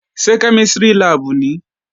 Ṣé kẹ́mísìrì láàbù nìí?